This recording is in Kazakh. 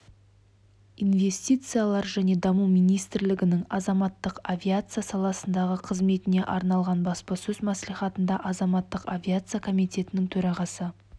инвестициялар және даму министрлігінің азаматтық авиация саласындағы қызметіне арналған баспасөз мәслихатында азаматтық авиация комитетінің төрағасы